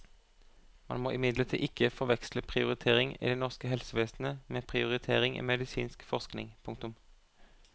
Man må imidlertid ikke forveksle prioritering i det norske helsevesenet med prioritering i medisinsk forskning. punktum